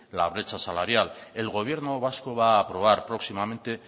la brecha salarial el gobierno vasco va a aprobar próximamente